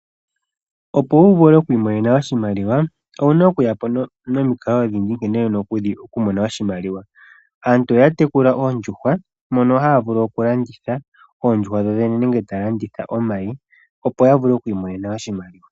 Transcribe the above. Opo wuvule okwiimonena oshimaliwa owuna okuya po nomikalo odhindji nkene wuna okumona oshimaliwa . Aantu ohaya tekula oondjuhwa mono haya vulu landitha oondjuhwa dhodhene nenge omayi opo yavule okwiimonena oshimaliwa.